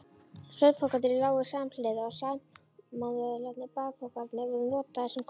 Svefnpokarnir lágu samhliða og samanvöðlaðir bakpokarnir voru notaðir sem koddar.